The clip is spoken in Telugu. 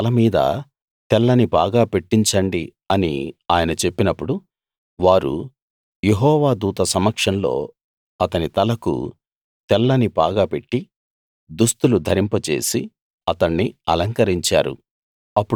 అతని తల మీద తెల్లని పాగా పెట్టించండి అని ఆయన చెప్పినప్పుడు వారు యెహోవా దూత సమక్షంలో అతని తలకు తెల్లని పాగా పెట్టి దుస్తులు ధరింపజేసి అతణ్ణి అలంకరించారు